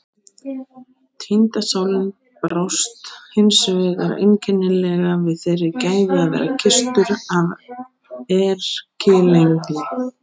Týnda sálin brást hins vegar einkennilega við þeirri gæfu að vera kysstur af erkiengli.